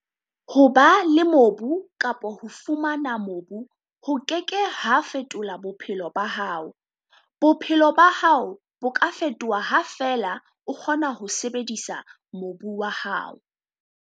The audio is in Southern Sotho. Ho ba le mobu kapa ho fumana mobu ho ke ke ha fetola bophelo ba hao - bophelo ba hao bo ka fetoha ha feela o kgona ho sebedisa mobu wa hao.